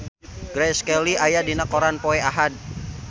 Grace Kelly aya dina koran poe Ahad